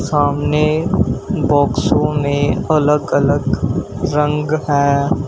सामने बॉक्सों में अलग अलग रंग हैं।